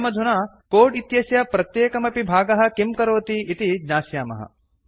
वयमधुना कोड् इत्यस्य प्रत्येकमपि भागः किं करोति इति ज्ञास्यामः